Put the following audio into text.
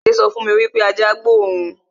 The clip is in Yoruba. Adé sọ fún mi wípé ajá gbó òun